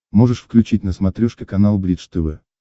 можешь включить на смотрешке канал бридж тв